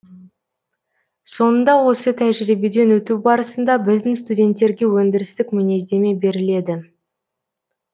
соңында осы тәжірибеден өту барысында біздің студенттерге өндірістік мінездеме беріледі